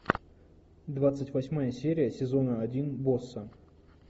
двадцать восьмая серия сезона один босса